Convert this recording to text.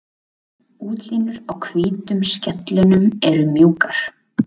Útlínur á hvítu skellunum eru mjúkar.